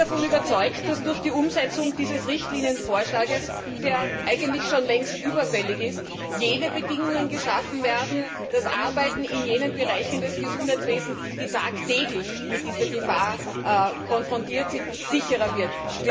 Ich bin davon überzeugt, dass durch die Umsetzung dieses Richtlinienvorschlags, der eigentlich schon längst überfällig ist, die Bedingungen dafür geschaffen werden, dass das Arbeiten in jenen Bereichen des Gesundheitswesens, die tagtäglich mit dieser Gefahr konfrontiert sind, sicherer wird.